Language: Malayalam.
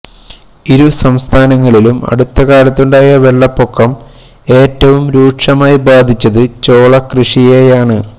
ഇരു സംസ്ഥാനങ്ങളിലും അടുത്ത കാലത്തുണ്ടായ വെള്ളപ്പൊക്കം ഏറ്റവും രൂക്ഷമായി ബാധിച്ചത് ചോളകൃഷിയെയാണ്